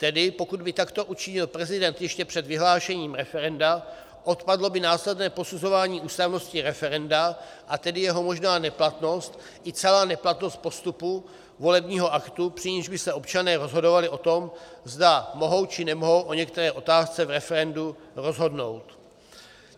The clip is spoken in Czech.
Tedy pokud by takto učinil prezident ještě před vyhlášením referenda, odpadlo by následné posuzování ústavnosti referenda, a tedy jeho možná neplatnost i celá neplatnost postupu volebního aktu, při nichž by se občané rozhodovali o tom, zda mohou či nemohou o některé otázce v referendu rozhodnout.